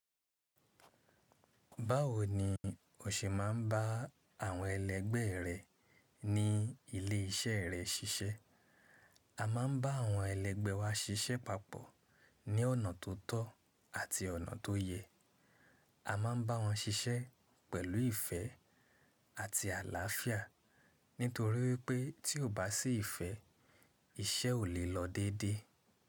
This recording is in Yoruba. Báwo ni o ṣe máa ń bá àwọn ẹlẹ́gbẹ́ rẹ ní ilé iṣẹ́ rẹ ṣiṣẹ́? A máa ń bá àwọn ẹlẹ́gbẹ́ wa ṣiṣẹ́ papọ̀ ní ọ̀nà tó tọ́ àti ọ̀nà tó yẹ. A máa ń bá wọn ṣiṣẹ́ pẹ̀lú ìfẹ́ àti àlàáfíà nítorí wipé tí ò bá sí ìfẹ́, iṣẹ́ ò lè lọ déedé.